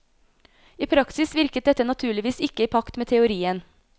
I praksis virket dette naturligvis ikke i pakt med teorien.